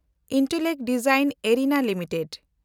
Intellect design arena limited